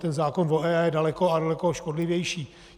Ten zákona o EIA je daleko a daleko škodlivější.